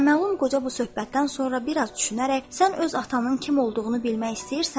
Naməlum qoca bu söhbətdən sonra biraz düşünərək, sən öz atanın kim olduğunu bilmək istəyirsənmi?